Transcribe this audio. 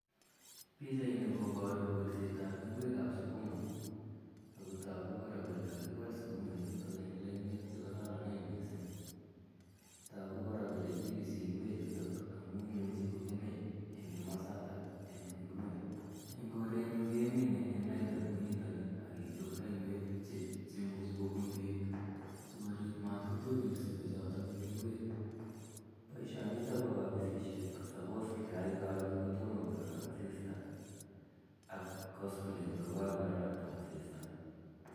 Pichaini koparu kolset ap ngwek ap sukuma. Ako tagu kora kole kakikol sukuma ichutok eng' lainwek che kararanen missing'. Tagu kora kole kipisi ngwechutok amu imuchi ko kemei eng' komasatak eng' inguni. Eng' korenyun kemine en lainda kou nitani ak kechop lainwek che imuchi kopun peek si korip matkotolso peechotok eng' ngwek. Poishonik ko suppose keyai karon ko toma korarak asista ak koskeleny ko kakorarakta asista.